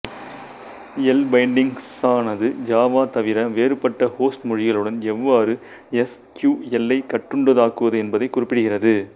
எல்பைண்டிங்க்ஸானது Java தவிர வேறுபட்ட host மொழிகளுடன் எவ்வாறு எஸ் கியூ எல்லைக் கட்டுண்டதாக்குவது என்பதை குறிப்பிடுகிறது